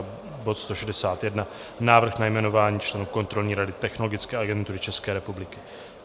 A bod 161, Návrh na jmenování členů Kontrolní rady Technologické agentury České republiky.